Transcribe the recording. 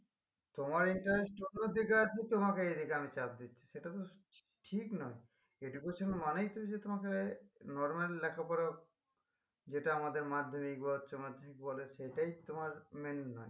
তোমার interest ছোট থেকে আছে তোমাকে এদিকে আমি চাপ দিচ্ছি সেটা তো ঠিক না education মানেই যে তোমাকে নরমাল লেখাপড়া যেটা আমাদের মাধ্যমিক বা উচ্চমাধ্যমিক বলে সেটাই তোমার main না